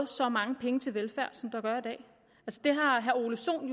så mange penge til velfærd som der gør i dag det har herre ole sohn